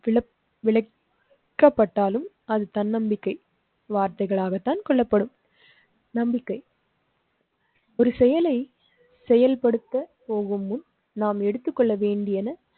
விளக்கப்பட்டாலும் அது தன்னம்பிக்கை வார்த்தைகளாகத்தான் கொள்ளப்படும். நம்பிக்கை ஒரு செயலை செயல்படுத்த போகும் முன் நாம் எடுத்துக்கொள்ள வேண்டியன.